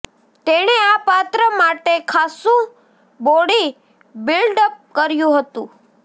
તેણે આ પાત્ર માટે ખાસ્સુ બોડી બિલ્ડઅપ કર્યું હતું